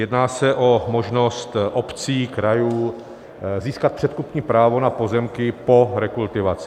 Jedná se o možnost obcí, krajů získat předkupní právo na pozemky po rekultivaci.